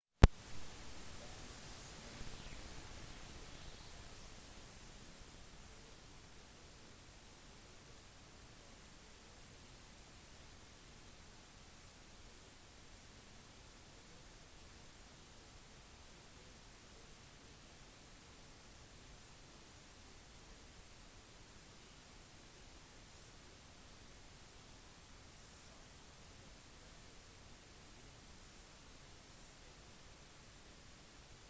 barn med add har problemer med å fokusere på saker som skolearbeid men de kan konsentrere seg når de holder på med saker de koser seg med som å spille spill se på yndlingstegnefilmene sine eller skrive setninger uten tegnsetting